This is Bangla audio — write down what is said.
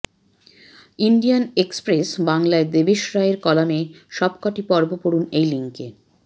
ইন্ডিয়ান এক্সপ্রেস বাংলা য় দেবেশ রায়ের কলামের সব কটি পর্ব পড়ুন এই লিংকে